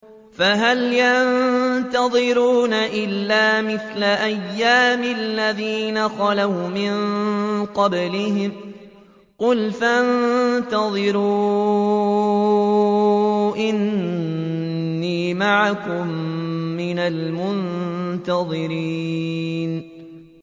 فَهَلْ يَنتَظِرُونَ إِلَّا مِثْلَ أَيَّامِ الَّذِينَ خَلَوْا مِن قَبْلِهِمْ ۚ قُلْ فَانتَظِرُوا إِنِّي مَعَكُم مِّنَ الْمُنتَظِرِينَ